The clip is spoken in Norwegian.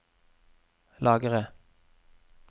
lagre